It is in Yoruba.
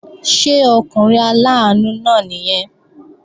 Ṣé ọkùnrin aláàánú náà nìyẹn?